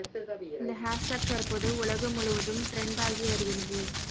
இந்த ஹேஸ்டேக் தற்போது உலகம் முழுவதும் ட்ரெண்ட் ஆகி வருகிறது